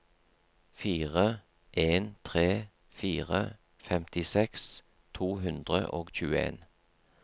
fire en tre fire femtiseks to hundre og tjueen